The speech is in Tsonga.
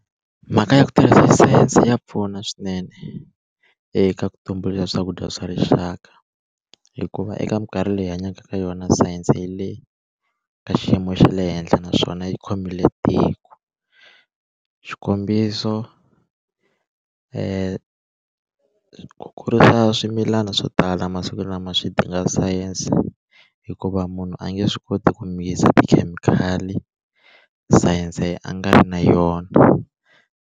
Mhaka ya ku tirhisa sayense ya pfuna swinene eka ku tumbuluxa swakudya swa rixaka hikuva eka minkarhi leyi hi hanyaka ka yona sayense yi le ka xiyimo xa le henhla naswona yi khomile tiko xikombiso ku kurisa swimilana swo tala masiku lama swi dinga sayense hikuva munhu a nge swi koti ku mi mix tikhemikhali sayense a nga ri na yona.